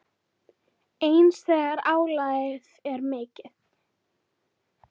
Eins þegar álagið er mikið.